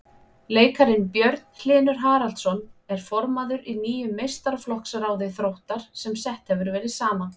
Leikarinn Björn Hlynur Haraldsson er formaður í nýju meistaraflokksráði Þróttar sem sett hefur verið saman.